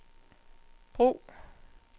brug